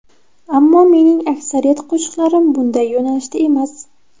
Ammo mening aksariyat qo‘shiqlarim bunday yo‘nalishda emas.